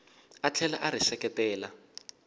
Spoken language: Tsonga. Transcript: a tlhela a ri seketela